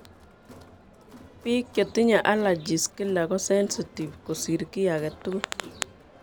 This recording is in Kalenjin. Biik chetinye allergies kila kosensitive kosir ki aketugul